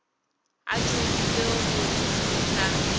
a thomile go se sa